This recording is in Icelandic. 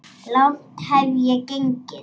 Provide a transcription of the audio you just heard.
Langt hef ég gengið.